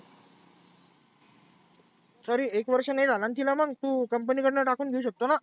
तरी एक वर्ष नाही झालाना मग तु company कडनं टाकुन घेऊ शकतोना.